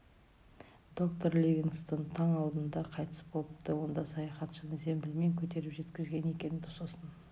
доктор ливингстон таң алдында қайтыс болыпты онда саяхатшыны зембілмен көтеріп жеткізген екен сосын